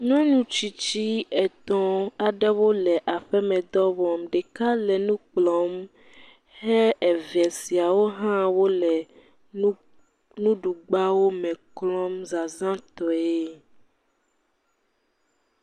Nyɔnu aɖewo le nu klɔm. Wòa me eve le gaze, gagbɛ kple gagbawo klɔm. Ɖeka le exa ɖe esi le tete ɖe anyigba abe enu kplɔ wole ene .